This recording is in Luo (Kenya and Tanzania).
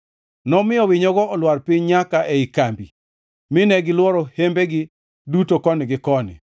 Nomiyo winyogo olwar piny nyaka ei kambi mine gilworo hembegi duto koni gi koni.